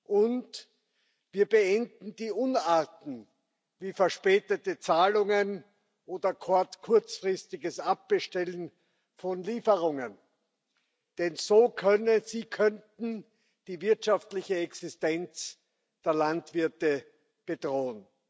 Und wir beenden die Unarten, wie verspätete Zahlungen oder das kurzfristige Abbestellen von Lieferungen, denn sie könnten die wirtschaftliche Existenz der Landwirte bedrohen.